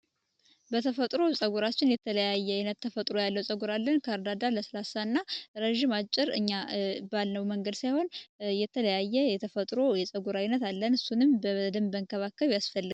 በተፈጥሮ የተለያየ የተፈጥሮ ፀጉር አለን ለስላሳ ከርዳዳ ረጅም አጭር እኛ ባለው መንገድ ሳይሆን የተለያየ የተፈጥሮ የፀጉር አይነት አለን እሱንም መንከባከብ ያስፈልጋል።